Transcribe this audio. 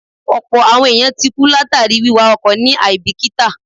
Ọ̀pọ̀ àwọn èèyàn ti kú látàríi wíwa ọkọ̀ ní àíbìkítà